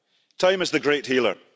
Time is the great healer.